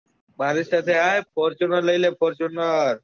મારી સાથે આય fortuner લઇ લે fortuner